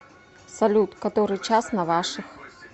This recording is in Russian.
салют который час на ваших